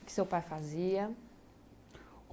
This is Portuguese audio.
O que seu pai fazia?